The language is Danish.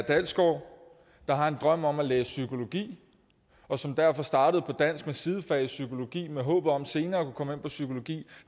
dalsgaard der har en drøm om at læse psykologi og som derfor startede på dansk med sidefag i psykologi i håbet om senere at kunne komme ind på psykologi